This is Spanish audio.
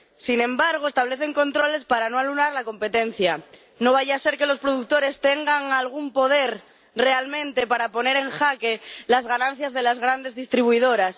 Sin embargo, establecen controles para no anular la competencia, no vaya ser que los productores tengan realmente algún poder para poner en jaque las ganancias de las grandes distribuidoras.